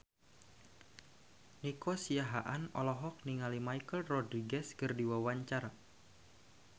Nico Siahaan olohok ningali Michelle Rodriguez keur diwawancara